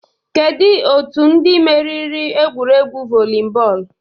Kedu otu ndị meriri egwuregwu volleyball?